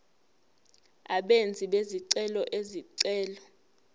abenzi bezicelo izicelo